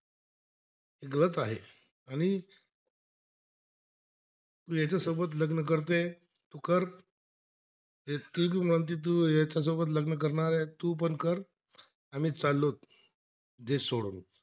तू याच्यासोबत लग्न करते, तू बी म्हणते याच्यासोबत लग्न करणार आहे तू पण कर आम्ही चाललो, देश सोडून